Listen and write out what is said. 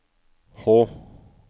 H